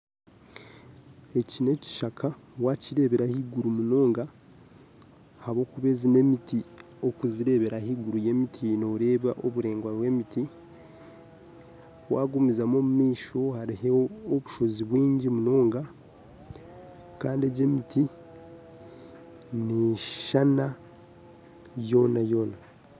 Eki n'ekishaka wakireebera ahaiguru munonga ahabw'okuba egi n'emiti wagireebera ahaiguru y'emiti nooreba oburaingwa bw'emiti wagumizamu omumaisho hariho obushozi bwingi munonga kandi egi emiti neyeshushana yoona yoona